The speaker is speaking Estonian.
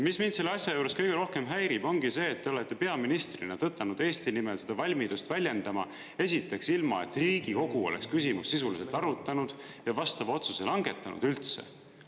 Mis mind selle asja juures kõige rohkem häirib, ongi see, et te olete peaministrina tõtanud Eesti nimel seda valmidust väljendama esiteks, ilma et Riigikogu oleks küsimus sisuliselt arutanud ja vastava otsuse langetanud üldse.